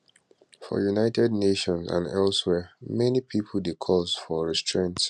for united nations and elsewhere many pipo dey calls for restraint